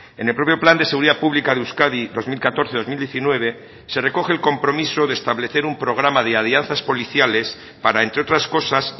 en el propio plan de seguridad pública de euskadi dos mil catorce dos mil diecinueve se recoge el compromiso de establecer un programa de alianzas policiales para entre otras cosas